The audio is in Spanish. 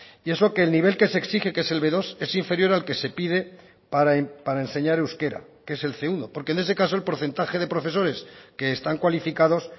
y eso que el nivel que se exige que es el be dos es inferior al que se pide para enseñar euskera que es el ce uno porque en ese caso el porcentaje de profesores que están cualificados